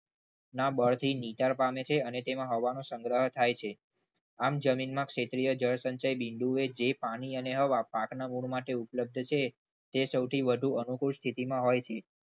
ના બળથી નીચાણ પામે છે અને તેમાં હવાનો સંગ્રહ થાય છે. આમ જમીનમાં ક્ષેત્રીય જળસંચાય બિંદુએ જે પાણી અને પાકના મૂળ માટે ઉપલબ્ધ છે. તે સૌથી વધુ અનુકૂળ સ્થિતિમાં હોય છે.